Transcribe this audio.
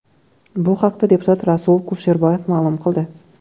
Bu haqda deputat Rasul Kusherboyev ma’lum qildi .